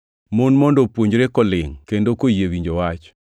Mon mondo opuonjre kolingʼ kendo koyie winjo wach.